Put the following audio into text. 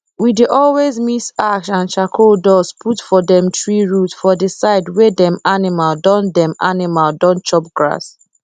we dey always mix ash and charcoal dust put for dem tree root for the side wey dem animal don dem animal don chop grass